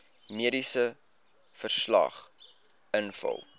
mediese verslag invul